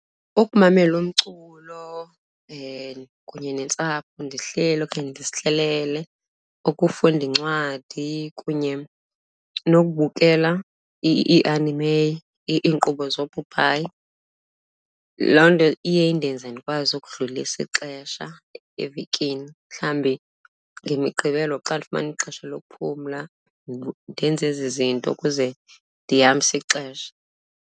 Ukumamela umculo kunye nentsapho ndihleli okanye ndizihlelele, ukufunda incwadi kunye nokubukela ii-anime, iinkqubo zoopopayi. Loo nto iye indenze ndikwazi ukudlulisa ixesha evekini, mhlawumbi ngeMiqgibelo xa ndifumana ixesha lokuphumla ndenze ezi zinto ukuze ndihambise ixesha.